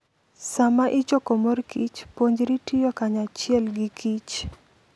Sama ichoko mor kich, puonjri tiyo kanyachiel gi kich